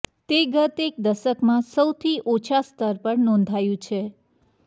તે ગત એક દશકમાં સૌથી ઓછા સ્તર પર નોંધાયું છે